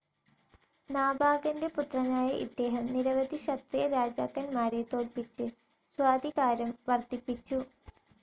നാഭാഗന്റെ പുത്രനായ ഇദ്ദേഹം നിരവധി ക്ഷത്രിയ രാജാക്കന്മാരെ തോല്പിച്ച് സ്വാധികാരം വർദ്ധിപ്പിച്ചു.